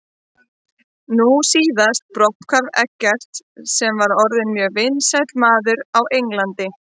Nú síðast brotthvarf Eggerts sem var orðinn mjög vinsæll maður á Englandi.